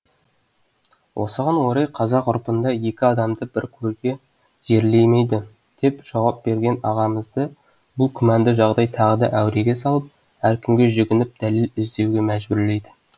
осыған орай қазақ ғұрпында екі адамды бір көрге жерлемейді деп жауап берген ағамызды бұл күмәнді жағдай тағы да әуреге салып әркімге жүгініп дәлел іздеуге мәжбүрлейді